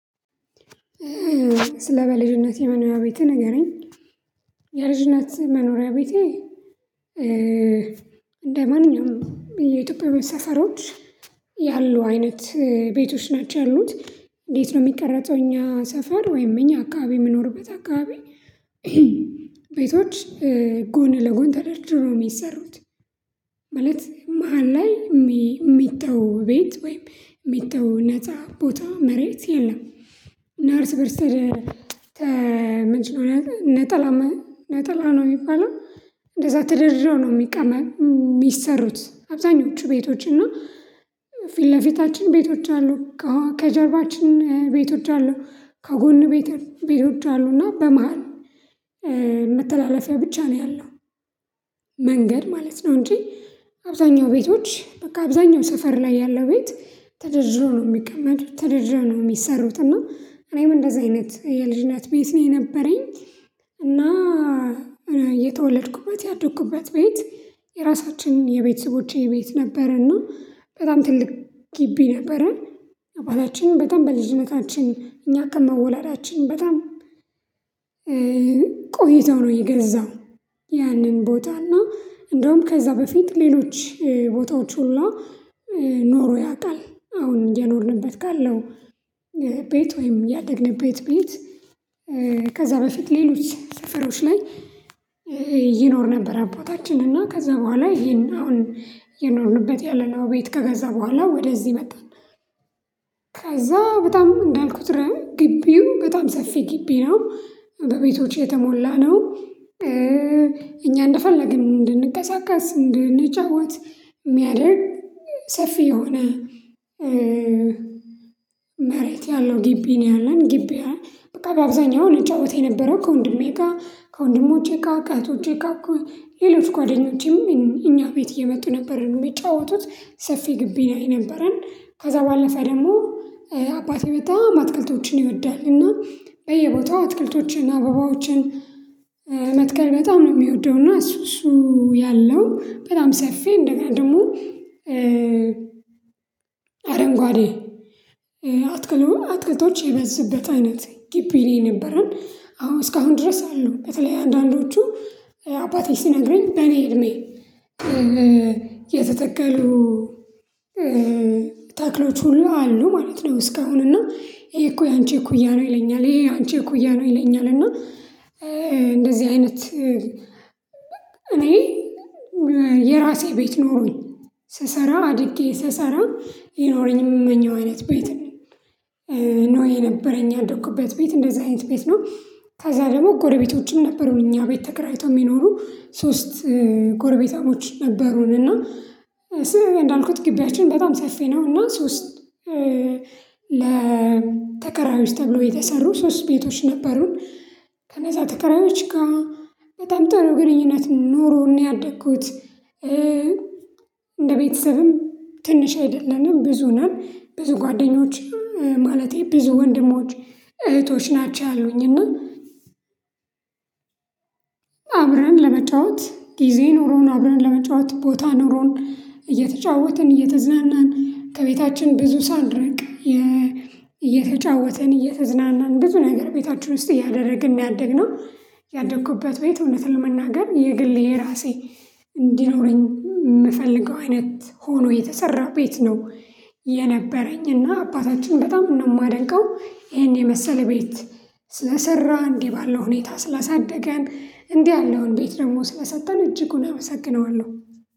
ስለ በልጅነቴ መኖሪያ ቤትህ ንገረኝ? የልጅነት መኖሪያ ቤቴ። እንደማንኛውም የኢትዮጵያ መ ሰፈሮች ያሉ አይነት ቤቶች ናቸው ያሉት። እንዴት ነው የሚቀረጸው? እኛ ሰፈር ወይም እኛ አካባቢ የምኖርበት አካባቢ። ቤቶች ጎን ለጎን ተደርድሮ የሚሰሩት። ማለት መሃል ላይ የሚጠው ቤት ወይም የሚጠው ነፃ ቦታ መሬት የለም። እና እርስ በርስ ተ መጀመሪያ ነጠላ ነጠላ ነጠላ ነው የሚባለው። እንደዛ ተደርድሮ ነው የሚቀመጥ የሚሰሩት አብዛኞቹ ቤቶች እና። ፊት ለፊታችን ቤቶች አሉ። ከጀርባችን ቤቶች አሉ። ከጎን ቤቶች አሉ እና በመሃል መተላለፊያው ብቻ ነው ያለው። መንገድ ማለት ነው እንጂ። አብዛኛው ቤቶች በቃ አብዛኛው ሰፈር ላይ ያለው ቤት ተደርድሮ ነው የሚቀመጡት ተደርድሮ ነው የሚሰሩት እና እኔም እንደዚህ አይነት የልጅነት ቤት ነው የነበረኝ። እና የተወለድኩባት ያደግኩባት ቤት የራሳችንን የቤተሰቦቼ ቤት ነበረና በጣም ትልቅ ግቢ ነበረ። አባታችንን በጣም በልጅነታችን እኛ ከመወላዳችን በጣም ነው የገዛው። ያንን ቦታና እንደውም ከዛ በፊት ሌሎች ቦታዎች ሁሉ ኖሮ ያውቃል። አሁን እየኖርንበት ካለው ቤት ወይም ያደግንበት ቤት። ከዛ በፊት ሌሎች ሰፈሮች ላይ ይኖር ነበር አባታችን እና ከዛ በኋላ ይሄን አሁን እየኖርንበት ያለነው ቤት ከገዛ በኋላ ወደዚህ መጣን። በጣም እንዳልኩት ረ ግቢው በጣም ሰፊ ግቢ ነው። በቤቶች የተሞላ ነው። እኛ እንደፈለግን እንድንቀሳቀስ እንድንጫዋት የሚያደርግ ሰፊ የሆነ። መሬት ያለው ግቢ ነወ ያለን ግቢ ያ በቃ በአብዛኛው ልጫወት የነበረው ከወንድሜ ጋር ከወንድሞቼ ጋር ከእህቶቼ ጋር ሌላው እኮ ጓደኞቼም እኛ ቤት እየመጡ ነበር የሚጫወቱት ሰፊ ግቢ ላይ ነበረን። ከዛ ባለፈ ደግሞ አባቴ በጣም አትክልቶችን ይወዳል እና በየቦታው አትክልቶችን አበባዎችን። በጣም ነው የሚወደው እና እሱ እሱ ያለው በጣም ሰፊ እንደገና ደሞ። አረንጓዴ አትክሎ አትክልቶች የበዝበት አይነት ግቢ ነው የነበረን። አዎ እስካሁን ድረስ አሉ በተለይ አንዳንዶቹ አባቴ ሲነግረኝ በእኔ እድሜ የተተከሉ ታክሎች ሁሉ አሉ ማለት ነው። እስካሁን እና ይሄ እኮ ያንቺ እኩያ ነው ይለኛል ይሄ አንቺ እኮ እኩያ ነው ይለኛል እና። እንደዚህ አይነት። እኔ የራሴ ቤት ኖሮኝ ስሰራ አድጌ ስሰራ የኖረኝም የምመኘው አይነት ቤት ነው። ነወ የነበረኝ የአደኩበት ቤት እንደዚህ አይነት ቤት ነው። ከዛ ደግሞ ጎረቤቶችም ነበሩኝ እኛ ቤት ተከራይቶ የሚኖሩ ሶስት ጎረቤታሞች ነበሩን። እና ስምም እንዳልኩት ግቢያችን በጣም ሰፊ ነው እና ሶስት ለተከራዮች ተብሎ የተሰሩ ሶስት ቤቶች ነበሩን። ከነዛ ተከራዮች ጋር በጣም ጥሩ ግንኙነት ኖሮን ነው ያደግኩት። እንደ ቤተሰብም ትንሽ አይደለንም ብዙ ነን ብዙ ጓደኞችም ማለቴ ብዙ ወንድሞች እህቶች ናቸው ያሉኝና። አብረን ለመጫወት ጊዜ ኑሮን አብረን ለመጫወት ቦታ ኑሮን እየተጫወትን እየተዝናናን ከቤታችን ብዙ ሳልርቅ እየተጫወተን እየተዝናናን ብዙ ነገር ቤታችን ውስጥ እያደረግን ነወ ያደግነው። ያደግኩበት ቤት እውነት ለመናገር የግል የራሴ እንዲኖረኝ የምፈልገው አይነት ሆኖ የተሰራው ቤት ነው። የነበረኝ እና አባታችን በጣም ነው የማደንቀው ይሄን የመሰለ ቤት ስለሰራሁ እንዲህ ባለው ሁኔታ ስላሳደገን እንዲህ ያለውን ቤት ደግሞ ስለሰጠን እጅጉን አመሰግነዋለሁ።